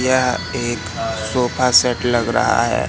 यह एक sofa set लग रहा है।